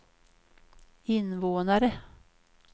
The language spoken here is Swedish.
invånare